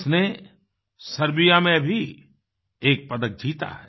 उसने सर्बियामें भी एक पदक जीता है